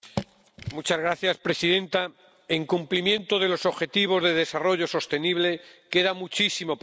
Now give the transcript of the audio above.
Señora presidenta, en cumplimiento de los objetivos de desarrollo sostenible queda muchísimo por hacer.